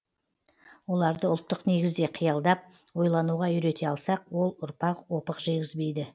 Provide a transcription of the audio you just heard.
оларды ұлттық негізде қиялдап ойлануға үйрете алсақ ол ұрпақ опық жегізбейді